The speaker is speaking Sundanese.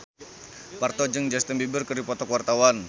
Parto jeung Justin Beiber keur dipoto ku wartawan